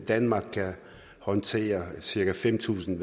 danmark kan håndtere cirka fem tusind